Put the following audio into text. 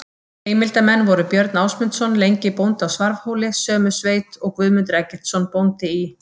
Heimildarmenn voru Björn Ásmundsson lengi bóndi á Svarfhóli sömu sveit og Guðmundur Eggertsson bóndi í